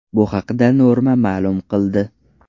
Bu haqda Norma ma’lum qildi .